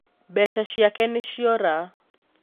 Mbeca ciake nĩciora